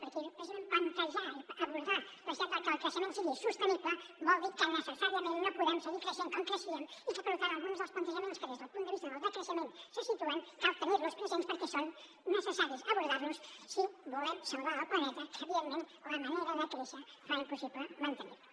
perquè precisament plantejar i abordar la necessitat de que el creixement sigui sostenible vol dir que necessàriament no podem seguir creixent com creixíem i que per tant alguns dels plantejaments que des del punt de vista del decreixement se situen cal tenir los presents perquè és necessari abordar los si volem salvar el planeta que evidentment la manera de créixer fa impossible mantenir lo